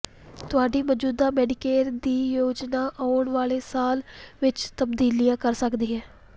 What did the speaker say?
ਤੁਹਾਡੀ ਮੌਜੂਦਾ ਮੈਡੀਕੇਅਰ ਦੀ ਯੋਜਨਾ ਆਉਣ ਵਾਲੇ ਸਾਲ ਵਿਚ ਤਬਦੀਲੀਆਂ ਕਰ ਸਕਦੀ ਹੈ